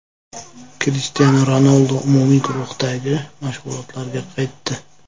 Krishtianu Ronaldu umumiy guruhdagi mashg‘ulotlarga qaytdi.